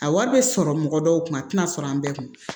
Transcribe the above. A wari bɛ sɔrɔ mɔgɔ dɔw kunna a tɛna sɔrɔ an bɛɛ kun